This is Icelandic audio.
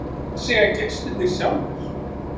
En hvað segja gestirnir sjálfir?